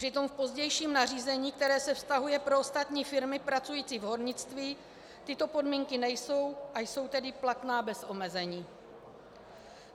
Přitom v pozdějším nařízení, které se vztahuje na ostatní firmy pracující v hornictví, tyto podmínky nejsou, a jsou tedy platné bez omezení.